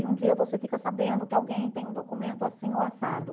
E um dia você fica sabendo que alguém tem um documento assim ou assado.